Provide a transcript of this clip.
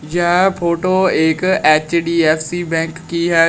यह फोटो एक एच_डी_एफ_सी बैंक की है।